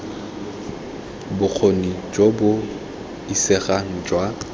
bokgoni jo bo isegang jwa